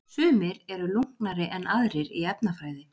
Sumir eru lunknari en aðrir í efnafræði.